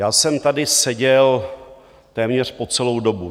Já jsem tady seděl téměř po celou dobu.